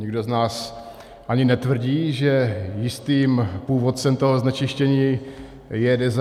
Nikdo z nás ani netvrdí, že jistým původcem toho znečištění je Deza.